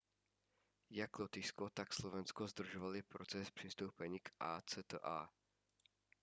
jak lotyšsko tak slovensko zdržovaly proces přistoupení k acta